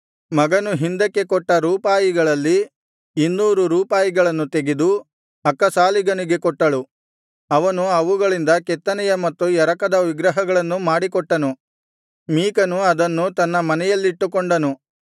ಮಗನು ಹಿಂದಕ್ಕೆ ಕೊಟ್ಟ ರೂಪಾಯಿಗಳಲ್ಲಿ ಇನ್ನೂರು ರೂಪಾಯಿಗಳನ್ನು ತೆಗೆದು ಅಕ್ಕಸಾಲಿಗನಿಗೆ ಕೊಟ್ಟಳು ಅವನು ಅವುಗಳಿಂದ ಕೆತ್ತನೆಯ ಮತ್ತು ಎರಕದ ವಿಗ್ರಹಗಳನ್ನು ಮಾಡಿಕೊಟ್ಟನು ಮೀಕನು ಅದನ್ನು ತನ್ನ ಮನೆಯಲ್ಲಿಟ್ಟುಕೊಂಡನು